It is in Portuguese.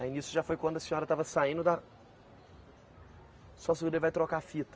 Aí nisso já foi quando a senhora estava saindo da. Só segura aí, vai trocar a fita.